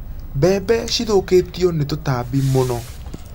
Mbembe cithũkĩtio nĩ tũtambi mũno.